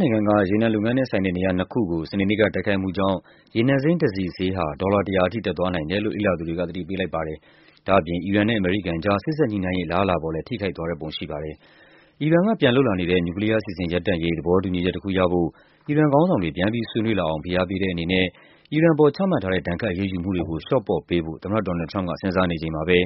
နိုင်ငံက ရေနံလုပ်ငန်းနဲ့ဆိုင်တဲ့ နေရာနှစ်ခုကို စနေနေ့က တိုက်ခိုက်မှုကြောင့် ရေနံစိမ်းတစည်ဈေးဟာ ဒေါ်လာ ၁၀၀ အထိ တက်သွားနိုင်တယ်လို့ လေ့လာသူတွေက သတိပေးလိုက်ပါတယ်။ ဒါ့အပြင် အီရန်နဲ့ အမေရိကန်ကြား စေ့စပ် ညှိနှိုင်းရေး အလားအလာပေါ်လည်း ထိခိုက်သွားတဲ့ပုံရှိပါတယ်။ အီရန်ကပြန်လုပ်လာနေတဲ့ နျူကလီးယားအစီအစဉ် ရပ်တန်ု့ရေး သဘောတူညီချက်တခုရဖို့ အီရန်ခေါင်းဆောင်တွေ ပြန်ပြီး ဆွေးနွေးလာအောင် အားပေးတဲ့အနေနဲ့ အီရန်အပေါ် ချမှတ်ထားတဲ့ ဒဏ်ခတ်အရေးယူမှုတွေကို လျှော့ပေါ့ပေးဖို့ သမ္မတ ဒေါ်နယ်လ်ဒ် ထရမ့်ပ်က စဉ်းစားနေချိန်မှာပဲ